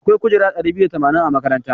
Akwai kujeru ɗari biyu da tamanin a makarantar.